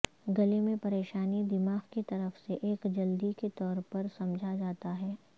گلے میں پریشانی دماغ کی طرف سے ایک جلدی کے طور پر سمجھا جاتا ہے